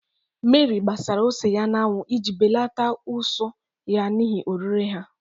Mary gbara ose ya n'anwụ iji belata ụsụ ya n'ihi orire ha.